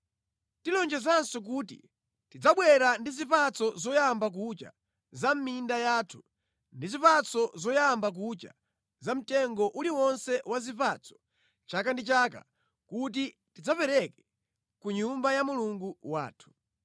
“Tilonjezanso kuti tidzabwera ndi zipatso zoyamba kucha za mʼminda yathu ndi zipatso zoyamba kucha za mtengo uliwonse wa zipatso chaka ndi chaka kuti tidzapereke ku Nyumba ya Mulungu wathu.”